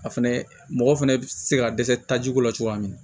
A fɛnɛ mɔgɔ fɛnɛ be se ka dɛsɛ tajiko la cogoya min na